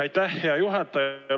Aitäh, hea juhataja!